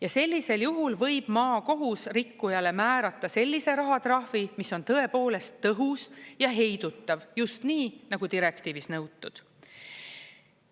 Ja sellisel juhul võib maakohus rikkujale määrata sellise rahatrahvi, mis on tõepoolest tõhus ja heidutav, just nii, nagu direktiivis nõutud.